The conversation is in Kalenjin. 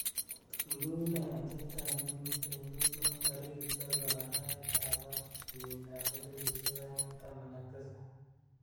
tun kounee atebtab emeet en lucknow tarigit sogol arawet ab oeng'en kenyiit ab elipusiek oeng' ak taman ak tisab